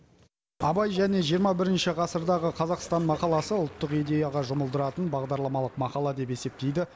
абай және жиырма бірінші ғасырдағы қазақстан мақаласы ұлттық идеяға жұмылдыратын бағдарламалық мақала деп есептейді